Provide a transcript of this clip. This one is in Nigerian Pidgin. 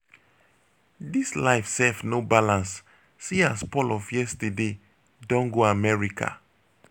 dis life sef no balance see as paul of yesterday don go america.